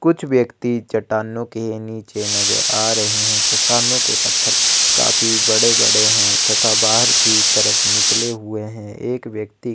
कुछ व्यक्ति चट्टानों के नीचे नजर आ रहे है चट्टानों के पत्थर काफी बड़े-बड़े हैं तथा बाहर की तरफ निकले हुए हैं एक व्यक्ति --